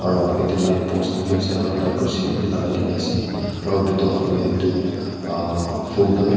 Aro agae dae light post khan bhi ase aro lagai dena ase aro bethor phale etu uhh phool khan bhi--